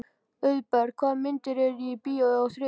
Auðberg, hvaða myndir eru í bíó á þriðjudaginn?